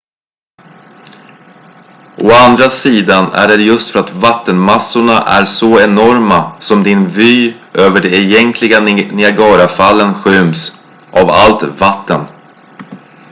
å andra sidan är det just för att vattenmassorna är så enorma som din vy över de egentliga niagarafallen skyms av allt vatten